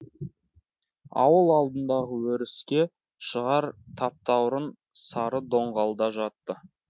ауыл алдындағы өріске шығар таптаурын сары доңғалда жатты